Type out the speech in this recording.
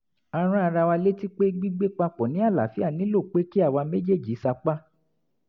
a rán ara wa létí pé gbígbé papọ̀ ní àlááfíà nílò pé kí àwa méjèèjì sapá